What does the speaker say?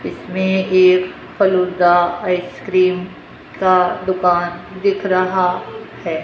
इसमें एक फालूदा आइसक्रीम का दुकान दिख रहा है।